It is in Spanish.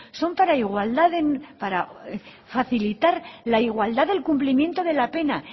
son para igualdad para facilitar la igualdad del cumplimiento de la pena